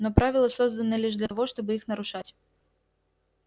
но правила созданы лишь для того чтобы их нарушать